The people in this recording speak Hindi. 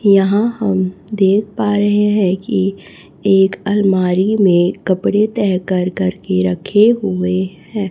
यहां हम देख पा रहे हैं कि एक अलमारी में कपड़े तैह कर कर के रखे हुए हैं।